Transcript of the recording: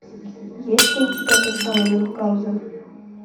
есть ли у тебя тот самый мюнхгаузен